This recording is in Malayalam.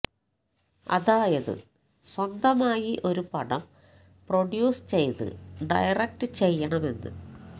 അതായത് സ്വന്തമായി ഒരു പടം പ്രൊഡ്യൂസ് ചെയ്ത് ഡയറക്ട് ചെയ്യണമെന്ന്